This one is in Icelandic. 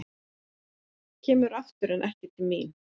Kemur aftur en ekki til mín.